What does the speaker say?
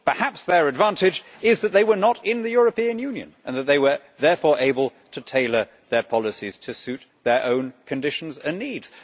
Perhaps their advantage is that they were not in the European Union and that they were therefore able to tailor their policies to suit their own conditions and needs.